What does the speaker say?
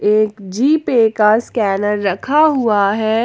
एक G Pay का scanner रखा हुआ है।